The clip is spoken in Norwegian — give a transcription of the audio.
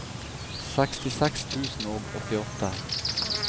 sekstiseks tusen og åttiåtte